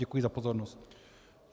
Děkuji za pozornost.